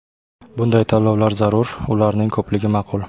Bunday tanlovlar zarur, ularning ko‘pligi ma’qul.